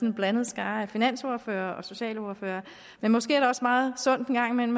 en blandet skare af finansordførere og socialordførere men måske er det også meget sundt